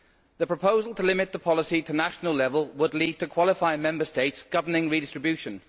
The proposal to limit the policy to national level would lead to qualifying Member States governing redistribution.